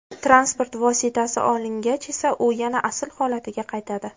Transport vositasi olingach esa u yana asl holatiga qaytadi.